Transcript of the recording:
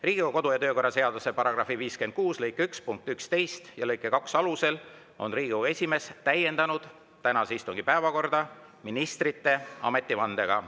Riigikogu kodu- ja töökorra seaduse § 56 lõike 1 punkti 11 ja lõike 2 alusel on Riigikogu esimees täiendanud tänase istungi päevakorda ministrite ametivandega.